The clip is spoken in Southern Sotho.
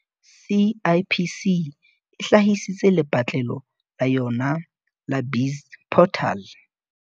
CIPC e hlahisitse lepatlelo la yona la BizPortal